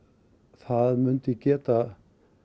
það geta